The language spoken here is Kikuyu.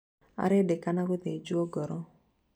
arendekana guthĩnjwo ngoro.